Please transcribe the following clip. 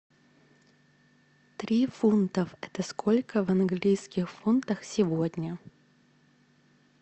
три фунтов это сколько в английских фунтах сегодня